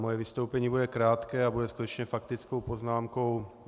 Moje vystoupení bude krátké a bude skutečně faktickou poznámkou.